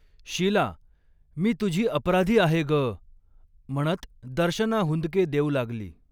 शिला, मी तुझी अपराधी आहे गऽऽ म्हणत दर्शना हुंदके देऊ लागली.